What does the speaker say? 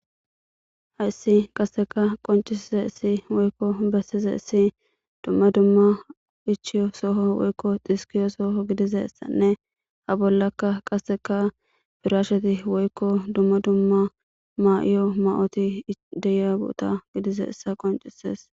hayssi qasseka qoncisize issi woykko bessize issi dumma dumma ichiyo soho woykko xhiskiyo sooho gidize ssanne ha bollakka qasseka firasheti woykko dumma dumma maa7iyo ma7oti deyabuta gidize issa qoncisees